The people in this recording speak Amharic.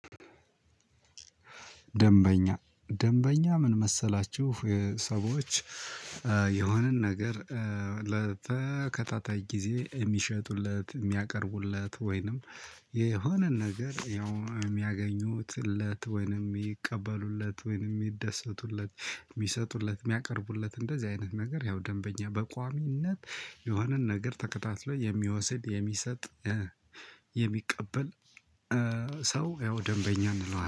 ደንበኛ ደንበኛ ምን መሰላችሁ ሰዎች የሆነን ነገር ለተከታታይ ጊዜ የሚሸጡለት የሚያቀርቡለት ወይንም የሆነ ነገር ያው የሚያገኙትለት ወይንም ይቀበሉለት ወይንም ይደሰቱለት የሚሰጡለት የሚያቀርቡለት እንደዚህ አይነት ነገር ያው ደንበኛ በቋሚነት የሆነን ነገር ተከታትሎ የሚወስድ የሚሰጥ የሚቀበል ሰው ያው ደንበኛ እንለዋለን